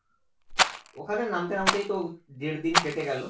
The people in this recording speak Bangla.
ওখানে নামতে নামতেই তো দেড়দিন কেটে গেলো